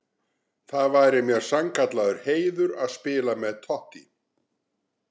Það væri mér sannkallaður heiður að spila með Totti.